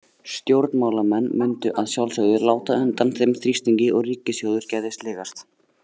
Stjórnmálamenn mundu að sjálfsögðu láta undan þeim þrýstingi og ríkissjóður gæti sligast.